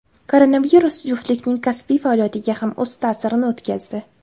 Koronavirus juftlikning kasbiy faoliyatiga ham o‘z ta’sirini o‘tkazdi.